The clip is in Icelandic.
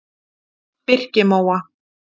Birkimóa